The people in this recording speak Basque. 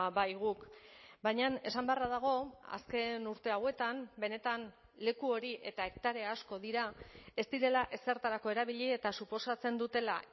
bai guk baina esan beharra dago azken urte hauetan benetan leku hori eta hektarea asko dira ez direla ezertarako erabili eta suposatzen dutela